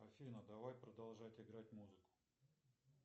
афина давай продолжать играть музыку